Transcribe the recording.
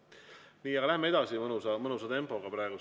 Nii, läheme edasi mõnusa tempoga praegu.